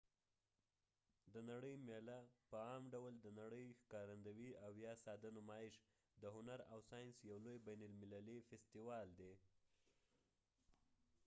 د نړۍ میله په عام ډول د نړۍ ښکارندوي ،او یا ساده نمایش د هنر او ساینس یو لوي بین المللی فیستیوال دي